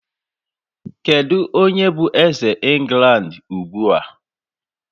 Kedu onye bụ eze England ugbu a?